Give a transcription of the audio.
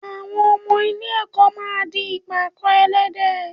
Àwọn ọmọ ilé-ẹ̀kọ́ máa di ìpàkọ́ ẹlẹ́dẹ̀